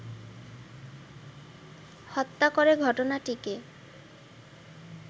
হত্যা করে ঘটনাটিকে